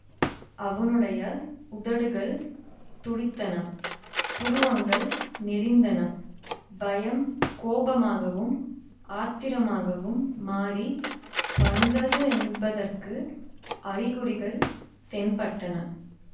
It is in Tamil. அவனுடைய உதடுகள் துடித்தன புருவங்கள் நெறிந்தன பயம் கோபமாகவும் ஆத்திரமாகவும் மாறி வந்தது என்பதற்கு அறிகுறிகள் தென்பட்டன